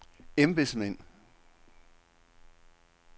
embedsmænd